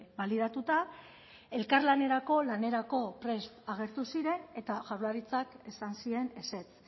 balidatuta elkarlanerako lanerako prest agertu ziren eta jaurlaritzak esan zien ezetz